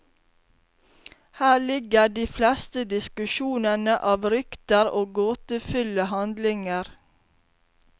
Her ligger de fleste diskusjonene av rykter og gåtefulle handlinger.